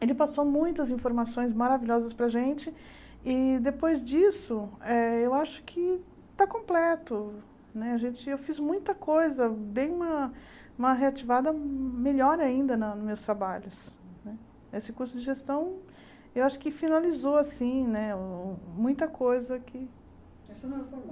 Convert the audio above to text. e ele passou muitas informações maravilhosas para gente e depois disso eh eu acho que está completo né gente eu fiz muita coisa bem uma uma reativada melhor ainda na meus trabalhos esse curso de gestão eu acho que finalizou assim né muita coisa aqui